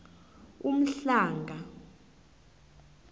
umhlanga